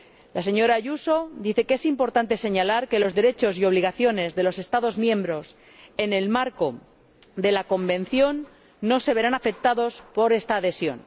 La señora Ayuso dice que es importante señalar que los derechos y obligaciones de los Estados miembros en el marco de la Convención no se verán afectados por esta adhesión.